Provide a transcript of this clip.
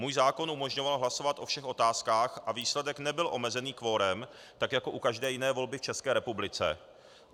Můj zákon umožňoval hlasovat o všech otázkách a výsledek nebyl omezený kvorem, tak jako u každé jiné volby v České republice.